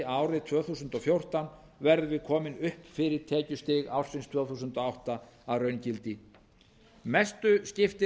árið tvö þúsund og fjórtán verðum við komin upp fyrir tekjustig ársins tvö þúsund og átta að raungildi mestu skiptir